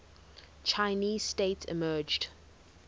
chinese state emerged